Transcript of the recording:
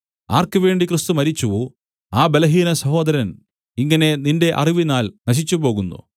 ആർക്കുവേണ്ടി ക്രിസ്തു മരിച്ചുവോ ആ ബലഹീന സഹോദരൻ ഇങ്ങനെ നിന്റെ അറിവിനാൽ നശിച്ചുപോകുന്നു